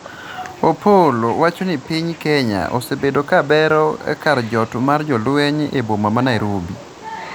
Opollo wacho ni piny Kenya osebedo ka bero kar jot mar jolweny e boma ma Nairobi